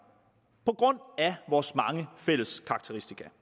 på grund af vores mange fælles karakteristika